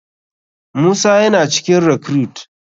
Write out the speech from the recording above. Musa yana cikin recruite.